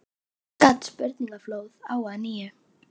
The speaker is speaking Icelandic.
Þá skall spurningaflóðið á að nýju.